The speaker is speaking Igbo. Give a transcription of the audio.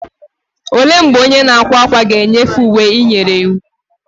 Olee mgbe onye na-akwa ákwà ga-enyefee uwe ị nyere iwu?